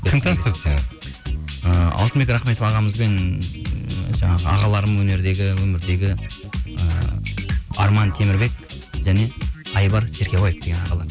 кім таныстырды сені ыыы алтынбек рахметов ағамызбен жаңағы ағаларым өнердегі өмірдегі і арман темірбек және айбар серкебаев деген ағалар